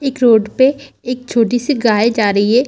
एक रोड पे एक छोटी-सी गाय जा रही है।